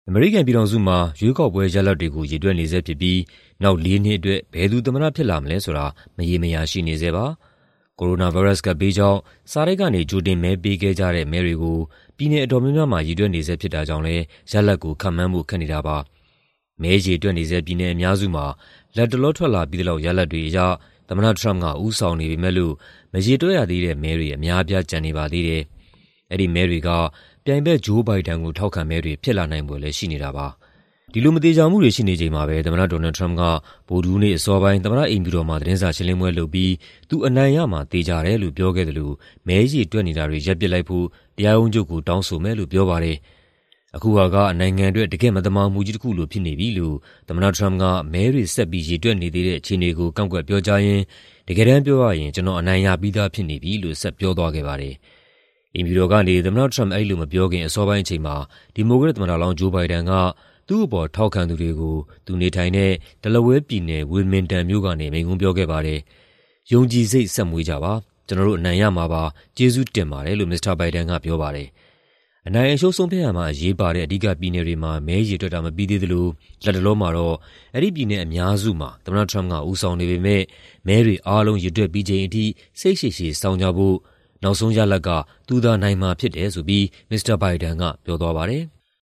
အမေရိကန်ပြည်ထောင်စုမှာ ရွေးကောက်ပွဲရလဒ်တွေကို ရေတွက်နေဆဲဖြစ်ပြီး နောက် ၄ နှစ်အတွက် ဘယ်သူ သမ္မတဖြစ်လာမလဲဆိုတာ မရေမရာ ဖြစ်နေပါတယ်။ ကိုရိုနာဗိုင်းရပ်စ် ကပ်ဘေးကြောင့် စာတိုက်ကနေ ကြိုတင်ပေးခဲ့ကြတဲ့ မဲတွေကို ပြည်နယ်အတော်များများမှာ ရေတွက်နေဆဲ ဖြစ်တာကြောင့်လည်း ရလဒ်ကို ခန့်မှန်းဖို့ ခက်နေတာပါ။ မဲရေတွက်နေဆဲ ပြည်နယ်အများစုမှာ လတ်တလော ထွက်လာပြီးသလောက် ရလဒ်တွေအရ သမ္မတထရမ့်ပ်က ဦးဆောင်နေပေမဲ့လို့ မရေတွက်ရသေးတဲ့ မဲတွေ အများအပြား ကျန်နေပါသေးတယ်။ အဲဒီမဲတွေ ပြိုင်ဘက် ဂျိုး ဘိုင်ဒန်ကို ထောက်ခံမဲတွေ ဖြစ်လာနိုင်ဖွယ်လည်း ရှိနေတာပါ။ ဒီလို မသေချာမှုတွေ ရှိနေချိန်မှာပဲ သမ္မတ ဒေါ်နယ်ထရမ့်ပ်က ဗုဒ္ဓဟူးနေ့ အစောပိုင်း အိမ်ဖြူတော်မှာ သတင်းစာရှင်းလင်းပွဲလုပ်ပြီး သူ အနိုင်ရမှာ သေချာတယ်လို့ ပြောခဲ့သလို မဲရေတွက်နေတာတွေ ရပ်ပစ်လိုက်ဖို့ တရားရုံးချုပ်ကို တောင်းဆိုမယ်လို့ ပြောပါတယ်။ "အခုဟာက နိုင်ငံအတွက် တကယ့်မသမာမှုကြီး တခုလိုဖြစ်နေပြီ။" လို့ သမ္မတ Trump က မဲတွေဆက်ပြီး ရေတွက်နေသေးတဲ့ အခြေအနေကို ကန့်ကွက်ပြောကြားရင်း "တကယ်တမ်းပြောရရင် ကျနော်အနိုင်ရပြီးသားဖြစ်နေပြီ။" လို့ ဆက်ပြောသွားခဲ့ပါတယ်။ အိမ်ဖြူတော်ကနေ သမ္မတထရမ့်ပ် အဲဒီလိုမပြောခင် အစောပိုင်းအချိန်မှာ ဒီမိုကရက်သမ္မတလောင်း ဂျိုး ဘိုင်ဒန်က သူ့အပေါ် ထောက်ခံသူတွေကို သူနေထိုင်တဲ့ Delaware ပြည်နယ်၊ Wilmington မြို့ကနေ မိန့်ခွန်းပြောကြားခဲ့ပါတယ်။ "ယုံကြည်စိတ် ဆက်မွေးကြပါ၊ ကျနော်တို့ အနိုင်ရမှာပါ၊ ကျေးဇူးတင်ပါတယ်။" လို့ မစ္စတာဘိုင်ဒန်က ပြောပါတယ်။ အနိုင်အရှုံး ဆုံးဖြတ်ရာမှာ အရေးပါတဲ့ အဓိက ပြည်နယ်တွေမှာ မဲရေတွက်တာ မပြီးသေးသလို လတ်တလောမှာတော့ ဒီပြည်နယ်အများစုမှာ သမ္မတ Trump က ဦးဆောင်နေပေမဲ့ မဲတွေ အားလုံး ရေတွက်ပြီးချိန်အထိ စိတ်ရှည်ရှည် စောင့်ကြဖို့၊ နောက်ဆုံးရလဒ်က သူသာနိုင်မှာ ဖြစ်တယ်ဆိုပြီး မစ္စတာဘိုင်ဒန်က ပြောသွားပါတယ်။